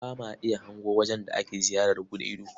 Ba ma iya hango wajen da ake ziyarar buɗe ido.